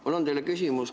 Mul on teile küsimus.